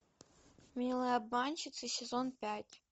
милые обманщицы сезон пять